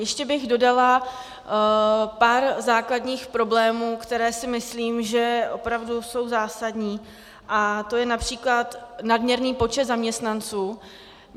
Ještě bych dodala pár základních problémů, které si myslím, že opravdu jsou zásadní, a to je například nadměrný počet zaměstnanců.